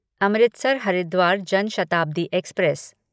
Amritsar Haridwar Jan Shatabdi express